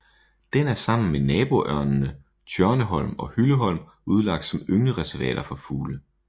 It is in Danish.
Den er sammen med naboøerne Tjørneholm og Hylleholm udlagt som ynglereservater for fugle